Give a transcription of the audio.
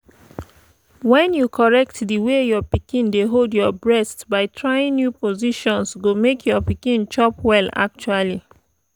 when you correct the way your pikin dey hold your breast by trying new positions go make your pikin chop well actually